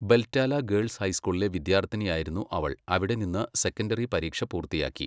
ബെൽറ്റാല girls ഹൈസ്കൂളിലെ വിദ്യാർത്ഥിനിയായിരുന്നു അവൾ, അവിടെ നിന്ന് സെക്കൻഡറി പരീക്ഷ പൂർത്തിയാക്കി.